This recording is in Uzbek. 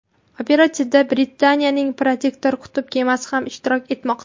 Operatsiyada Britaniyaning Protector qutb kemasi ham ishtirok etmoqda.